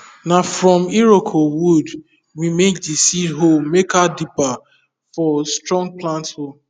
na from iroko wood we make the seed hole makerdibber for strong plant hole